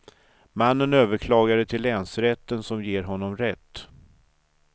Mannen överklagade till länsrätten som ger honom rätt.